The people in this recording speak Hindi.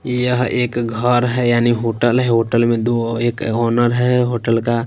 यह एक घर है यानी होटल है होटल में दो एक ओनर है होटल का।